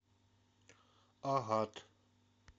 агат